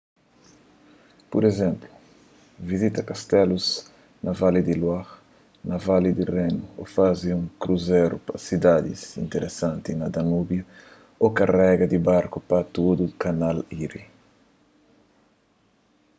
pur izénplu vizita kastelus na vali di loire na vali di renu ô faze un kruzeru pa sidadis interesantis na danúbiu ô navega di barku pa tudu kanal erie